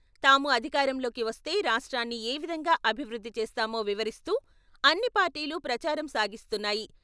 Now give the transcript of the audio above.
తాము అధికారంలోకి వస్తే రాష్ట్రాన్ని ఏవిధంగా అభివృద్ధి చేస్తామో వివరిస్తూ అన్ని పార్టీలు ప్రచారం సాగిస్తున్నాయి.